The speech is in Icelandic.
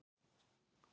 Var hún þó góð þá.